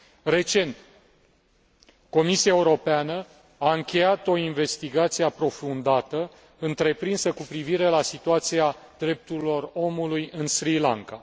Recent, Comisia Europeană a încheiat o investigație aprofundată întreprinsă cu privire la situația drepturilor omului în Sri Lanka.